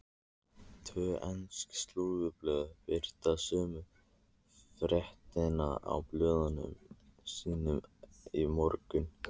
Tvö ensk slúðurblöð birta sömu fréttina í blöðum sínum í morgun.